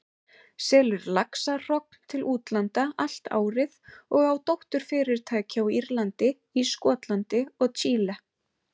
selur laxahrogn til útlanda allt árið og á dótturfyrirtæki á Írlandi, í Skotlandi og Chile.